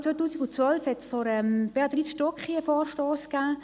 Bereits im Jahr 2012 wurde von Béatrice Stucki ein Vorstoss eingereicht.